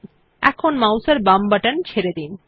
এখন মাউস এর বাম বাটন ছেড়ে দিন